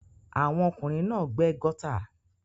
Àwọn ọkùnrin náà gbẹ́ gọ́tà.